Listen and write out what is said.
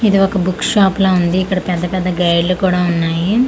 ఇది ఒక book shop లా ఉంది ఇక్కడ పెద్ద పెద్ద గైడ్లు కూడా ఉన్నాయి.